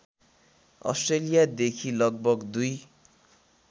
अस्ट्रेलियादेखि लगभग २